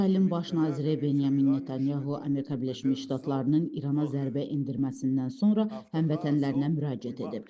İsrailin Baş naziri Benyamin Netanyahu Amerika Birləşmiş Ştatlarının İrana zərbə endirməsindən sonra həmvətənlərinə müraciət edib.